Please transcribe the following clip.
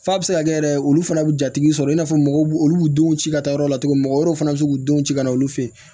F'a bɛ se ka kɛ yɛrɛ olu fana bɛ jatigi sɔrɔ i n'a fɔ mɔgɔw b'u olu b'u denw ci ka taa yɔrɔ la cogo min na wɛrɛw fana bɛ se k'u denw ci ka na olu fɛ yen